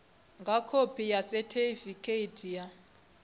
nga khophi yo sethifaiwaho ya